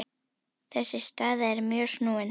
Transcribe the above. Þessi staða er mjög snúin.